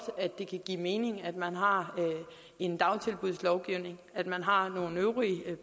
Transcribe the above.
at det kan give mening at man har en dagtilbudslovgivning at man har nogle øvrige